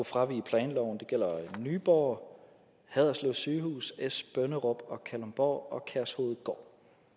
fravige planloven og gælder nyborg haderslev sygehus esbønderup kalundborg og kærshovedgård